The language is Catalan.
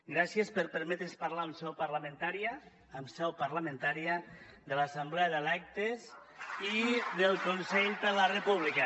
gràcies per permetre’ns parlar en seu parlamentària en seu parlamentària de l’assemblea d’electes i del consell per la república